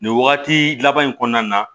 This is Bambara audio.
Nin wagati laban in kɔnɔna na